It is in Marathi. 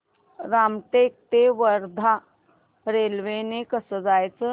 रामटेक ते वर्धा रेल्वे ने कसं जायचं